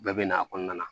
Bɛɛ bɛ na a kɔnɔna na